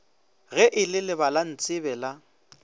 ge e le lebalantsebe la